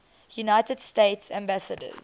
united states ambassadors